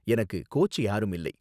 எனக்கு கோச் யாரும் இல்லை.